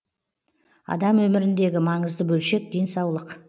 адам өміріндегі маңызды бөлшек денсаулық